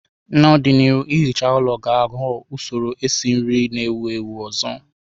N'ọdịnihu, ihicha ụlọ ga-aghọ usoro esi nri na-ewu ewu ọzọ.